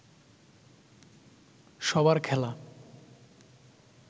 সবার খেলা